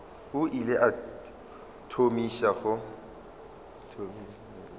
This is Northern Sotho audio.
o ile a thomiša go